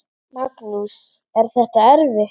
Magnús: Er þetta erfitt?